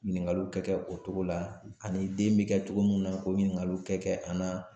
Ɲiningaliw kɛ kɛ o cogo la ani den be kɛ cogo mun na k'o ɲiningaliw kɛ kɛ an na